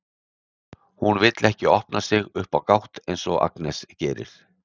Hún vill ekki opna sig upp á gátt eins og Agnes gerir.